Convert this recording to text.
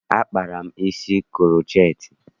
Akpara m isi kuroceti.